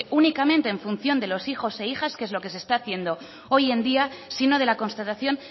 únicamente en función de hijos e hijas que es lo que se está haciendo hoy en día sino de la constatación